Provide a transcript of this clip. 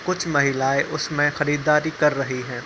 कुछ महिलाएं उसमे खरीदारी कर रही हैं।